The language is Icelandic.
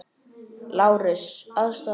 LÁRUS: Aðstoða mig!